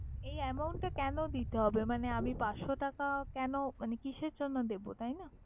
এই amount টা কেনো দিতে হবে মানে আমি পাঁচশ টাকা কেনো মানে কিসের জন্য দেবো, তাই না?